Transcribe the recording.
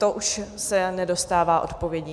To už se nedostává odpovědí.